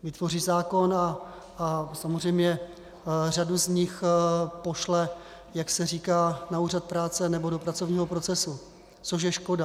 Vytvoří zákon a samozřejmě řadu z nich pošle, jak se říká, na úřad práce nebo do pracovního procesu, což je škoda.